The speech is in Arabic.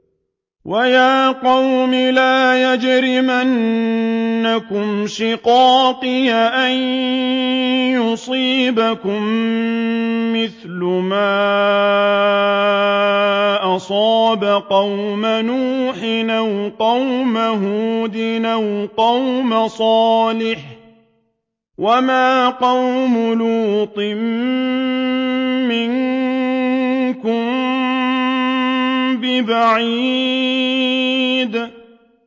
وَيَا قَوْمِ لَا يَجْرِمَنَّكُمْ شِقَاقِي أَن يُصِيبَكُم مِّثْلُ مَا أَصَابَ قَوْمَ نُوحٍ أَوْ قَوْمَ هُودٍ أَوْ قَوْمَ صَالِحٍ ۚ وَمَا قَوْمُ لُوطٍ مِّنكُم بِبَعِيدٍ